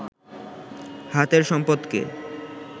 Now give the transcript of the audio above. হাতের সম্পদকে